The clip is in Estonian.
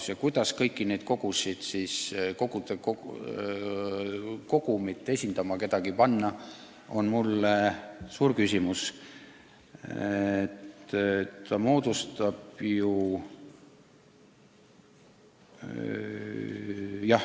Samas, kuidas panna keegi kõiki neid suuri kogusid esindama, on mulle suur küsimus.